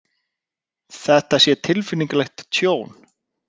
Þetta sé tilfinnanlegt tjón